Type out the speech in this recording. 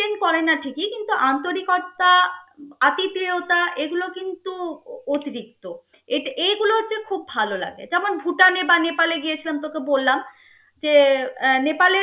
করে না ঠিকি কিন্তু আন্তারিকতা আতিথিয়তা এগুলো কিন্তু অতিরিক্ত এট~ এইগুলো যে খুব ভাললাগে যেমন ভুটানে বা নেপালে গিয়েছিলাম তোর তো বললাম যে আহ নেপালে